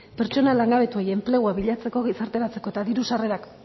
pertsona langabetuei enplegua bilatzeko gizarteratzeko eta diru sarrerak